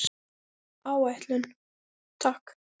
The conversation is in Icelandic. Áætlun, takk.